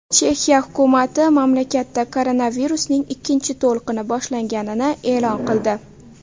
Chexiya hukumati mamlakatda koronavirusning ikkinchi to‘lqini boshlanganini e’lon qildi.